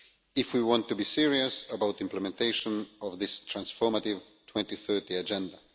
if we want to be serious about implementation of this transformative 2030 Agenda.